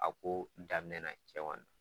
A ko daminɛ na cɛ ma